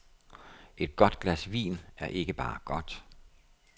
Et godt glas vin er ikke bare godt.